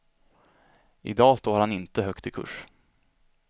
I dag står han inte högt i kurs.